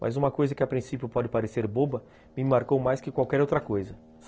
Mas uma coisa que a princípio pode parecer boba, me marcou mais que qualquer outra coisa.